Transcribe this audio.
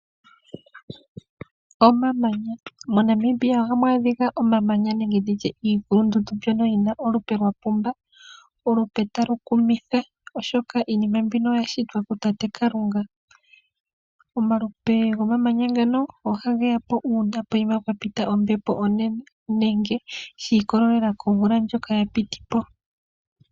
Omamanya, moNambibia ohamu adhika omamyanya nenge nditye iikulundundu mbyoka yi na olupe lwapumba ,olupe talukumitha oshoka iinima mbika oyashitwa kutate Kalunga .Omalupe goomamanya ngano oha geya po una poyima pwa pita ombepo onene nenge shi ikolelela komvula ndjoka ya piti po.